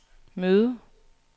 møde